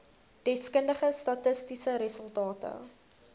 deskundige statistiese resultate